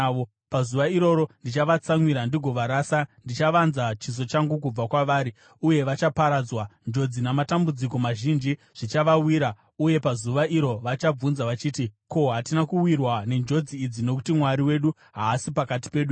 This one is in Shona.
Pazuva iroro ndichavatsamwira ndigovarasa: ndichavanza chiso changu kubva kwavari, uye vachaparadzwa. Njodzi namatambudziko mazhinji zvichavawira uye pazuva iro vachabvunza vachiti, ‘Ko, hatina kuwirwa nenjodzi idzi nokuti Mwari wedu haasi pakati pedu here?’